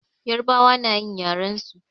Yarbawa nayin yaren su.